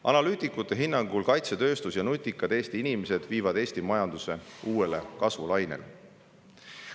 Analüütikute hinnangul viivad kaitsetööstus ja nutikad Eesti inimesed meie majanduse uuele kasvulainele.